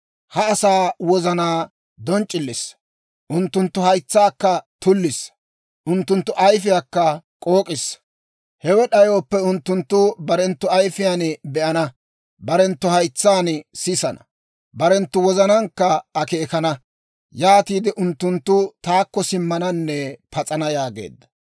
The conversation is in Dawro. Ha asaa wozanaa donc'c'illissa; unttunttu haytsaakka tullissa; unttunttu ayfiyaakka k'ook'issa; hewe d'ayooppe, unttunttu barenttu ayifiyaan be'ana; barenttu haytsaan sisana; barenttu wozanaankka akeekana; yaatiide unttunttu taakko simmananne pas'ana» yaageedda.